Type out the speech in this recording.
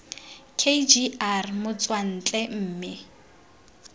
k g r motswantle mme